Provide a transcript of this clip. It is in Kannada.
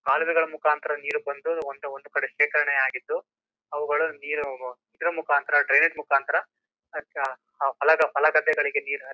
ಕಾಲವೆಗಳ ಮುಕಾಂತರ ನೀರು ಬಂದು ಒಂದ್ ಒಂದ್ಕಡೆ ಶೇಖರಣೆಅಗಿದು ಅವುಗಳು ನೀರು ಇದ್ರೂ ಮುಕಾಂತರ ಡ್ರೈನೇಜ್ ಮುಕಾಂತರ ಹೂಲ ಗದ್ಧೆಗಳಿಗೆ ನೀರು ಹರಿ--